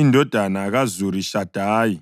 indodana kaZurishadayi;